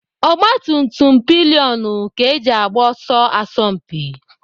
Ogbatumtum pilionụ ka eji agba ọsọ asọmpi.